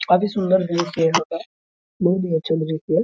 काफी सुन्दर दृश्य है यहाँ का बहुत ही अच्छा दृश्य है ।